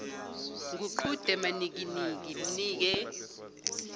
nguqhude manikiniki mnike